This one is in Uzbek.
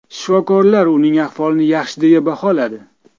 Shifokorlar uning ahvolini yaxshi deya baholadi.